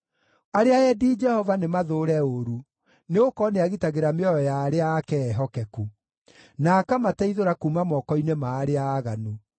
Arĩa endi Jehova nĩmathũũre ũũru, nĩgũkorwo nĩagitagĩra mĩoyo ya arĩa ake ehokeku, na akamateithũra kuuma moko-inĩ ma arĩa aaganu.